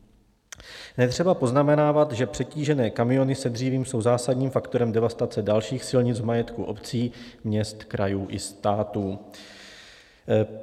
Netřeba poznamenávat, že přetížené kamiony s dřívím jsou zásadním faktorem devastace dalších silnic v majetku obcí, měst, krajů i státu.